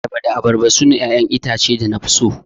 Ayaba da abarba sune 'ya'yan itatuwa da nafi so.